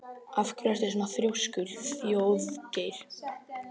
Af hverju ertu svona þrjóskur, Þjóðgeir?